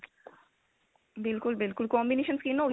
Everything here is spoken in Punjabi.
ਬਿਲਕੁਲ ਬਿਲਕੁਲ combination skin ਹੋ ਗਈ